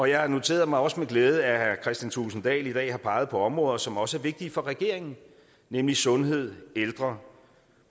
jeg noterede mig også med glæde at herre kristian thulesen dahl i dag har peget på områder som også er vigtige for regeringen nemlig sundhed ældre